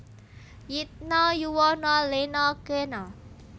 Yitna yuwana lena kena